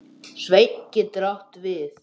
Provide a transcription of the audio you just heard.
Sveinn getur átt við